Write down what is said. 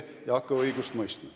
Ärme hakka õigust mõistma.